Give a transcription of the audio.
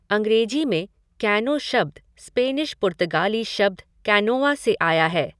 अंग्रेजी में कैनो शब्द स्पेनिश पुर्तगाली शब्द कैनोआ से आया है।